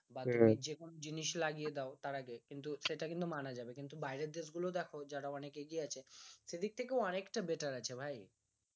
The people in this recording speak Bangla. বা তুমি যেকোনো জিনিস লাগিয়ে দাও তার আগে কিন্তু সেটা কিন্তু মানা যাবে কিন্তু বাইরের দেশ গুলো দেখো যারা অনেক এগিয়ে আছে সেদিক থেকেও অনেকটা better আছে ভাই